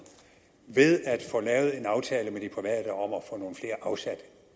ved at få lavet en aftale med de private om at få nogle flere afsat